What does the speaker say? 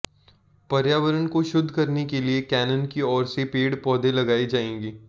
पर्यावरण को शुद्ध करने के लिए कैनन की ओर से पेड़ पौधे लगाए जाएंगे